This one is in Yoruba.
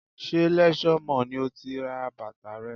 Ṣé Leisure Mall ni o ti ra bàtà rẹ?